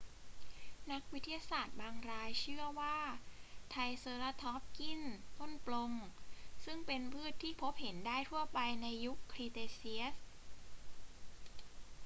นักวิทยาศาสตร์บางรายเชื่อว่าไทรเซราทอปส์กินต้นปรง ซึ่งเป็นพืชที่พบเห็นได้ทั่วไปในยุคครีเทเชียส